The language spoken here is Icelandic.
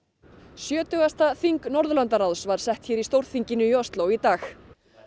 sjötugasta þing Norðurlandaráðs var sett hér í Stórþinginu í Osló í dag